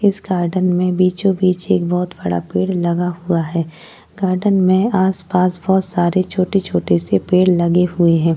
इस गार्डन में बीचो बीच एक बहोत बड़ा पेड़ लगा हुआ है। गार्डन में आसपास बहोत सारे छोटे-छोटे से पेड़ लगे हुए हैं।